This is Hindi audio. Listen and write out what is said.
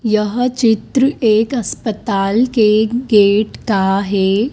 यहा चित्र एक अस्पताल के गेट का है।